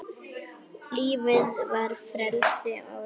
Lífið var frelsi og leikur.